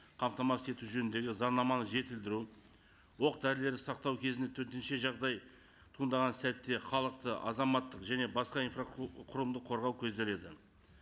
қамтамасыз ету жөніндегі заңнаманы жетілдіру оқ дәрілерді сақтау кезінде төтенше жағдай туындаған сәтте халықты азаматтық және басқа инфра құрылымды қорғау көзделеді